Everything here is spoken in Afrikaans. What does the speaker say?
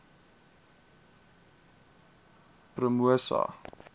promosa